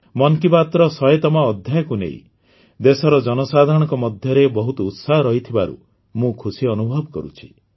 ମନ୍ କି ବାତ୍ର ୧୦୦ତମ ଅଧ୍ୟାୟକୁ ନେଇ ଦେଶର ଜନସାଧାରଣଙ୍କ ମଧ୍ୟରେ ବହୁତ ଉତ୍ସାହ ରହିଥିବାରୁ ମୁଁ ଖୁସି ଅନୁଭବ କରୁଛି